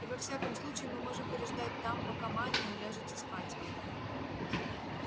и во всяком случае мы можем переждать там пока ма не уляжется спать